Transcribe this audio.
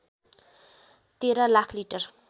१३ lakh litre